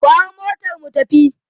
ku hau motar mu tafi!